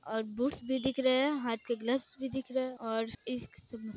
और बूट्स भी दिख रहे हैं हाथ के ग्लव्स भी दिख रहे हैं और इस--